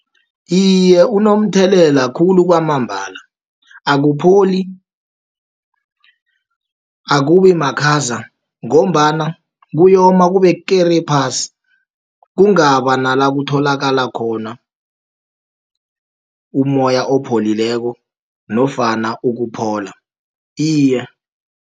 Iye, unomthelela khulu kwamambala, akupholi, akubimakhaza, ngombana kuyoma kube kere, phasi. Kungaba nala kutholakala khona umoya opholileko, nofana ukuphola iye.